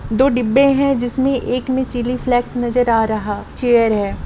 दो डिब्बे हैजिसमे एक मे चिली फ्लेक्स नजर आ रहा चेयर है।